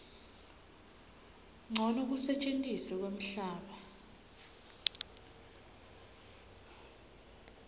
ncono kusetjentiswa kwemhlaba